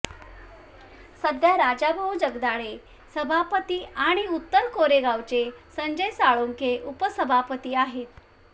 सध्या राजाभाऊ जगदाळे सभापती आणि उत्तर कोरेगावचे संजय साळुंखे उपसभापती आहेत